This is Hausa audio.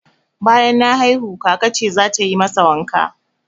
Banyan na haihu, kaka ce zata yi masa wanka